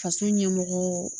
Faso ɲɛmɔgɔ